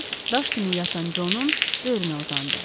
Sonra daş kimi yatan Conun böyrünə uzandı.